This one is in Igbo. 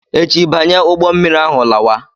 Echi banye ụgbọ mmiri ahụ lawa!